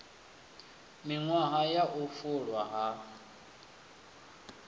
miṅwahani ya u fulwa ha